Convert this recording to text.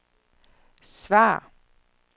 svar